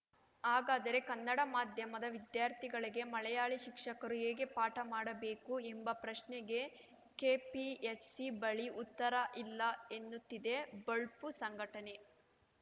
ಹಾಗಾದರೆ ಕನ್ನಡ ಮಾಧ್ಯಮದ ವಿದ್ಯಾರ್ಥಿಗಳಿಗೆ ಮಲಯಾಳಿ ಶಿಕ್ಷಕರು ಹೇಗೆ ಪಾಠ ಮಾಡಬೇಕು ಎಂಬ ಪ್ರಶ್ನೆಗೆ ಕೆಪಿಎಸ್‌ಸಿ ಬಳಿ ಉತ್ತರ ಇಲ್ಲ ಎನ್ನುತ್ತಿದೆ ಬೊಳ್ಪು ಸಂಘಟನೆ